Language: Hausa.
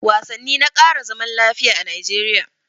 Wasanni na ƙara zaman lafiya a Najeriya